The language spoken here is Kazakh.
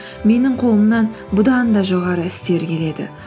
менің қолымнан бұдан да жоғары істер келеді